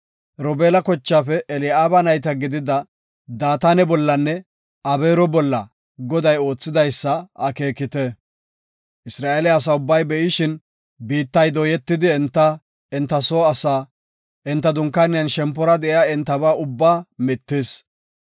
Robeela kochaafe Eli7aaba nayta gidida Daatane bollanne Abeero bolla Goday oothidaysa akeekite. Isra7eele asa ubbay be7ishin, biittay dooyetidi, enta, enta soo asaa, enta dunkaaniyanne shempora de7iya entaba ubbaa mittis.